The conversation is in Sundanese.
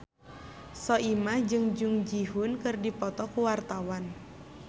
Soimah jeung Jung Ji Hoon keur dipoto ku wartawan